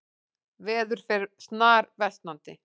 Veður fer snarversnandi